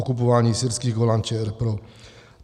Okupování syrských Golan - ČR pro.